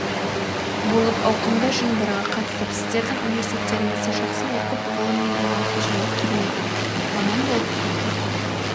болып ауқымды жиындарға қатысып сіздердің университеттеріңізде жақсы оқып ғылыммен айналысу және керемет маман болып қалыптасу